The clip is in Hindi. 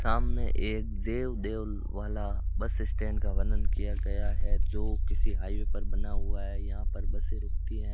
सामने ये जेव देवल वाला बस स्टैंड का वर्णन किया गया है जो किसी हाईवे पर बना हुआ है यहां पर बसे रूकती है।